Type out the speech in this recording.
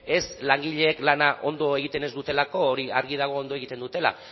ez langileek lana ondo egiten ez dutelako hori argi dago ondo egiten dutela